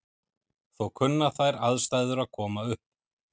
Þó kunna þær aðstæður að koma upp.